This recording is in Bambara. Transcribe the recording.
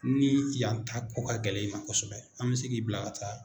Ni yan ta ko ka gɛlɛn in ma kosɛbɛ an mɛ se k'i bila ka taa